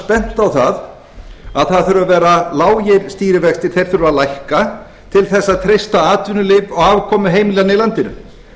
bent á að það þurfi að vera lágir stýrivextir þeir þurfi að lækka til að treysta atvinnulíf og afkomu heimilanna í landinu